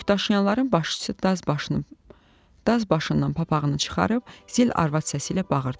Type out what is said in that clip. Yükdaşıyanların başçısı daz başından papağını çıxarıb zil arvad səsi ilə bağırdı.